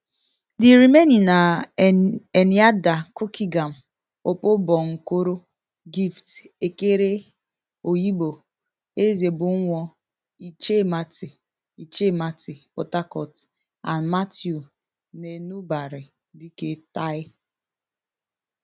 di remaining na enyiada cookeygam opobonkoro gift okere oyigbo ezebunwo ichemati ichemati port harcourt and matthew nenubari dike tai